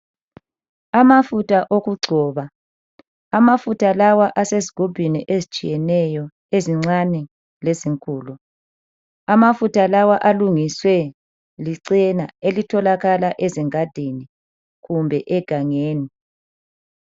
Amafutha okugcoba , amafutha lawa asezigubhini ezitshiyeneyo ezincane lezinkulu . Amafutha lawa alungiswe licena elitholakala ezingadini kumbe egangeni.